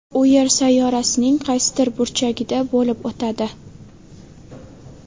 U Yer sayyorasining qaysidir burchagida bo‘lib o‘tadi.